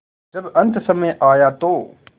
जब अन्तसमय आया तो